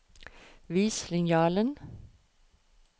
Vis linjalen